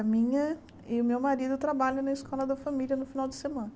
A minha e o meu marido trabalham na escola da família no final de semana.